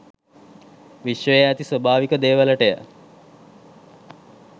විශ්වයේ ඇති ස්වාභාවික දේවලටය.